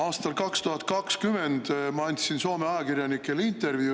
Aastal 2020 ma andsin Soome ajakirjanikele intervjuu.